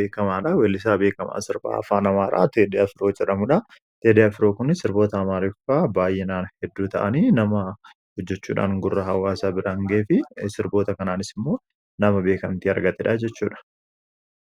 beekamaadha weellisaa beekamaa sirbaa afaan amaaraa Teedii Afiroo jedhamuudha Teedii Afiroon kun sirboota afaan amaaraa baay'inaan hedduu ta'anii namaaf hojjechuudhaan gurra hawaasaa biraan ga'ee fi sirboota kanaanis immoo nama beekamtii argateedhaa jechuudha